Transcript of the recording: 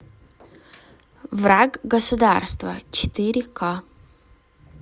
враг государства четыре ка